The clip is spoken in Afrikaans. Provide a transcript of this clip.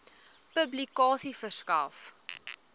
publikasie verskaf